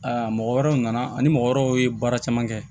mɔgɔ wɛrɛw nana ani mɔgɔ wɛrɛw ye baara caman kɛ